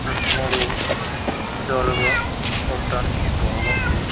రెండు మూడు విధాలుగా చూడటానికి బాగుంది.